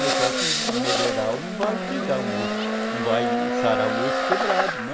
Mas só que melhoral não vai cuidar um osso, não vai sarar um osso quebrado, né.